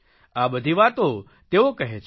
આ બધી વાતો તેઓ કહે છે